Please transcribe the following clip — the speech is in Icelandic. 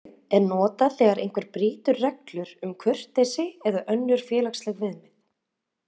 Orðasambandið er notað þegar einhver brýtur reglur um kurteisi eða önnur félagsleg viðmið.